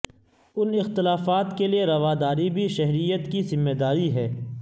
ان اختلافات کے لئے رواداری بھی شہریت کی ذمہ داری ہے